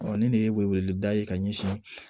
ni nin ye wele wele da ye ka ɲɛsin